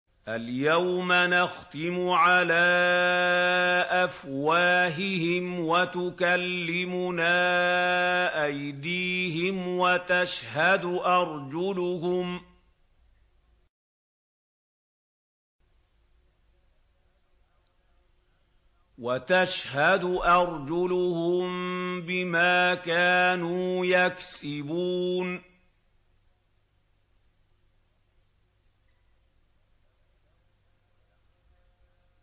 الْيَوْمَ نَخْتِمُ عَلَىٰ أَفْوَاهِهِمْ وَتُكَلِّمُنَا أَيْدِيهِمْ وَتَشْهَدُ أَرْجُلُهُم بِمَا كَانُوا يَكْسِبُونَ